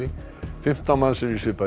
fimmtán manns í svipaðri